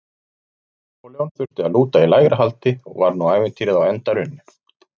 Napóleon þurfti að lúta í lægra haldi og var nú ævintýrið á enda runnið.